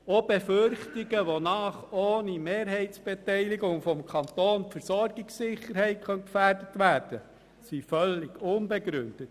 Auch Befürchtungen, wonach ohne Mehrheitsbeteiligung des Kantons die Versorgungssicherheit gefährdet sein könnte, sind völlig unbegründet.